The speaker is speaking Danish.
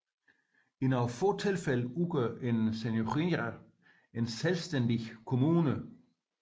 I nogle få tilfælde udgør én seniūnija en selvstændig kommune